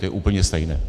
To je úplně stejné.